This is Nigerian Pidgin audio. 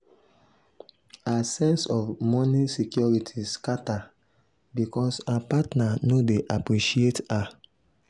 her sense of moni security scata because her partner no dey appreciate her.